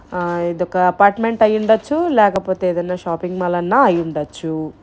ఇది ఒక అపార్ట్మెంట్ అయి ఉండవచ్చు లేకపోతే ఏదైనా షాపింగ్ మాల్ అయిన అయి ఉండవచ్చు.